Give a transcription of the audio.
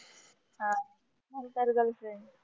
अं नंतर girlfriend